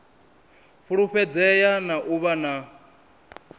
fulufhedzea na u vha na